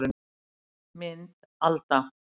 Mynd Alda